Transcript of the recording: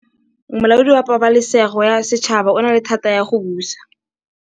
Molaodi wa Pabalêsêgo ya Setšhaba o na le thata ya go busa.